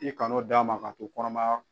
I kana o d'a ma k'a to kɔnɔmaya